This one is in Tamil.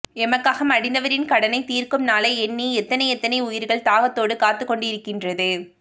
எமக்காக மடிந்தவரின் கடனை தீர்க்கும் நாளை எண்ணி எத்தனை எத்தனை உயிர்கள் தாகத்தோடு காத்துக்கொண்டு இருக்கின்றது